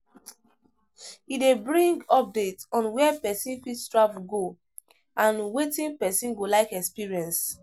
E de bring updates on where persin fit travel go and wetin persin go like experience